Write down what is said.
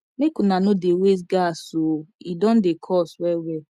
make una no dey waste gas o e don dey cost wellwell